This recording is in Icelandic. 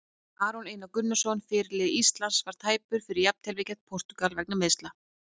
Aron Einar Gunnarsson, fyrirliði Íslands, var tæpur fyrir jafnteflið gegn Portúgal vegna meiðsla.